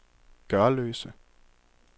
Gørløse